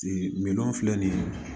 min filɛ nin ye